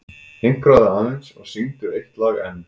Hinkraðu aðeins og syngdu eitt lag enn.